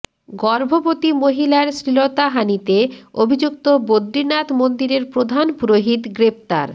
গর্ভবতী মহিলার শ্লীলতাহানিতে অভিযুক্ত বদ্রিনাথ মন্দিরের প্রধান পুরোহিত গ্রেফতার